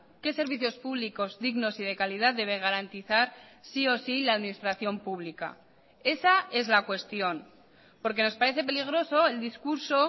qué servicios públicos dignos y de calidad debe garantizar sí o sí la administración pública esa es la cuestión porque nos parece peligroso el discurso